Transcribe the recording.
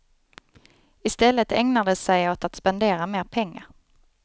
I stället ägnar de sig åt att spendera mer pengar.